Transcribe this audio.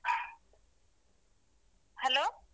Hello.